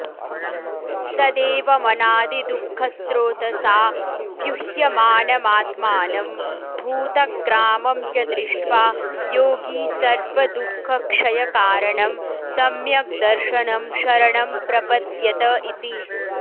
तदेवमनादिदुःखस्रोतसा व्युह्यमानमात्मानं भूतग्रामं च दृष्ट्वा योगी सर्वदुःखक्षयकारणं सम्यग्दर्शनं शरणं प्रपद्यत इति